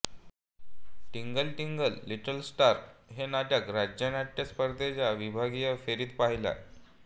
टिंगल टिंगल little star हे नाटक राज्य नाट्य स्पर्धेच्या विभागीय फेरीत पहिले